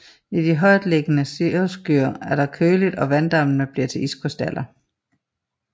I de højt liggende cirrusskyer er det køligt og vanddamp bliver til iskrystaller